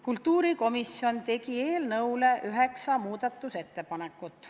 Kultuurikomisjon tegi eelnõu kohta üheksa muudatusettepanekut.